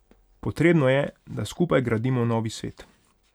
Potrebno je, da skupaj gradimo novi svet.